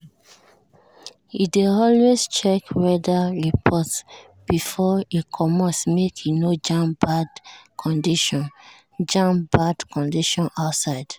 e dey always check weather report before e comot make e no jam bad condition jam bad condition outside.